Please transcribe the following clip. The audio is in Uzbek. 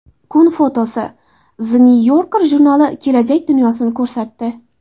Kun fotosi: The New Yorker jurnali kelajak dunyosini ko‘rsatdi.